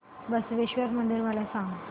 बसवेश्वर मंदिर मला सांग